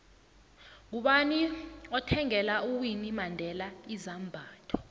ngubani othvngela uwinnie mandela izambatho